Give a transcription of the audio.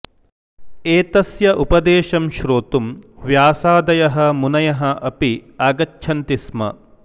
एतस्य उपदेशं श्रोतुं व्यासादयः मुनयः अपि आगच्छन्ति स्म